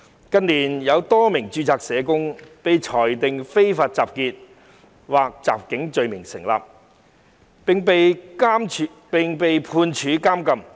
近年有多名註冊社工被裁定非法集結或襲警罪名成立，並被判處監禁。